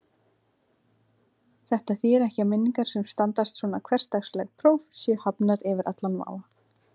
Þetta þýðir ekki að minningar sem standast svona hversdagsleg próf séu hafnar yfir allan vafa.